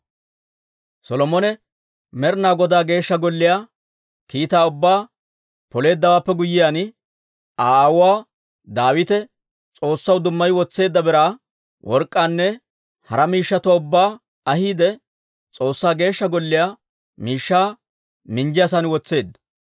Solomone Med'inaa Godaa Geeshsha Golliyaa kiitaa ubbaa Poleeddawaappe guyyiyaan, Aa aawuu Daawite S'oossaw dummayi wotseedda biraa, work'k'aanne hara miishshatuwaa ubbaa ahiide, S'oossaa Geeshsha Golliyaa miishshaa minjjiyaasan wotseedda.